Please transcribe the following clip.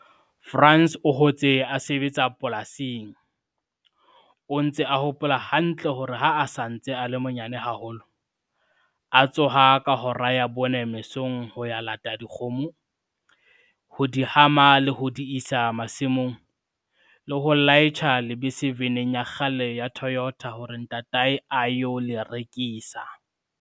Frans o hotse a sebetsa polasing, o ntse a hopola hantle hore ha a sa ntse a le monyane haholo, a tsoha ka hora ya 4 mesong ho ya lata dikgomo, ho di hama le ho di isa masimong, le ho laitjha lebese veneng ya kgale ya Toyota hore ntatae a yo le rekisa.